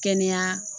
Kɛnɛya